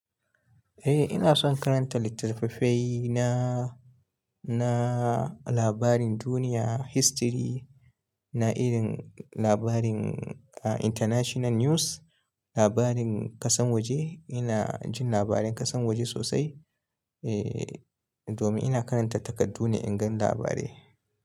Eh ina son karanta littattafai na, na labarin duniya, history, na irin labarin international news, labarin ƙasan waje ina jin labarin ƙasan waje sosai. Eh, domin ina karanta takardu ne in gan labarai.